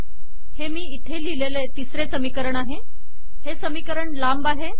हे मी इथे लिहिलेले तिसरे समीकरण आहे हे समीकरण लांब आहे